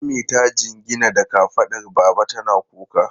Ummi ta jingina da kafadar baba tana kuka.